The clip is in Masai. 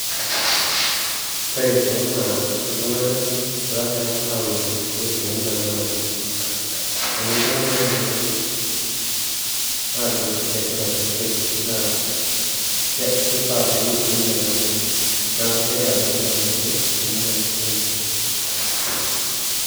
Kore kulo naa iltung'ana logira aun ilkeek temurua namanya. Amu iltung'ana oyiolo aajo letipat ilkeek naa [ke] keifaa peuni temurua namanya. Neaku kegira kulo tung'anak aun ilkeek temurua enche.